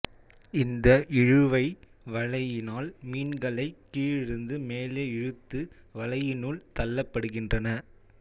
இந்த இழுவை வலையினால் மீன்களை கீழிருந்து மேலே இழுத்து வலையினுள் தள்ளப்படுகின்றன